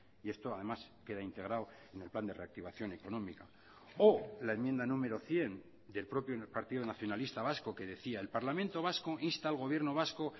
y esto además queda integrado en el plan de reactivación económica o la enmienda número cien del propio partido nacionalista vasco que decía el parlamento vasco insta al gobierno vasco